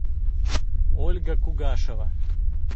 ольга кугашева